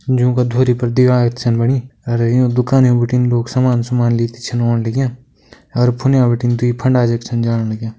जोंका धोरी पर बणी अर यु दुकानयु बिटिन लोग सामान सुमान लिती छन ओण लग्यां अर फुंडे बिटिन दुई फंडा जख छन जाण लग्यां।